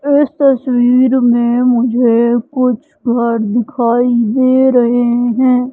इस तस्वीर में मुझे कुछ घर दिखाई दे रहे हैं।